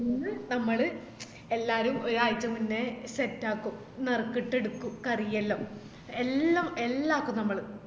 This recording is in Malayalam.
നമ്മള് എല്ലാരും ഒരാഴ്ച മുന്നേ set ആക്കും നറുക്കിട്ടെടുക്കും കറിയെല്ലാം എല്ലാം എല്ലാക്കും നമ്മള്